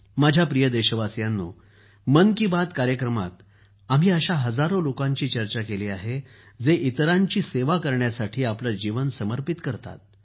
माझ्या प्रिय देशवासियांनो मन की बात कार्यक्रमात आम्ही अशा हजारो लोकांची चर्चा केली आहे जे इतरांची सेवा करण्यासाठी आपलं जीवन समर्पित करतात